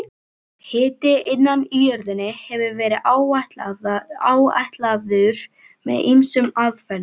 Hiti innan í jörðinni hefur verið áætlaður með ýmsum aðferðum.